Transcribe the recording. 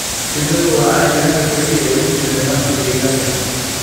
Shinnidu waa cayayaanka kaliya ee ku jira nidaamka deegaanka.